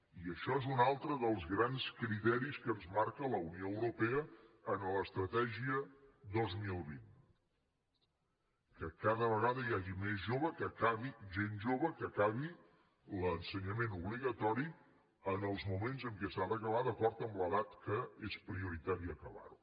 i això és un altre dels grans criteris que ens marca la unió europea en l’estratègia dos mil vint que cada vegada hi hagi més gent jove que acabi l’ensenyament obligatori en el moment en què s’ha d’acabar d’acord amb l’edat en què és prioritari acabar lo